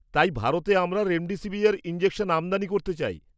তাই, ভারতে আমরা রেমডেসিভির ইনজেকশন আমদানি করতে চাই।